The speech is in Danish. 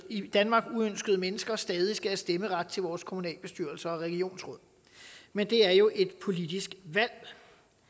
i danmark uønskede mennesker stadig skal have stemmeret til vores kommunalbestyrelser og regionsråd men det er jo et politisk valg